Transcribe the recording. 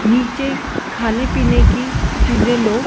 नीचे खाने-पीने की चीजे लो--